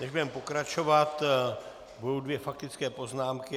Teď budeme pokračovat, budou dvě faktické poznámky.